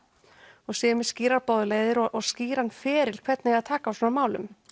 og séu með skýrar boðleiðir og skýran feril hvernig eigi að taka á svona málum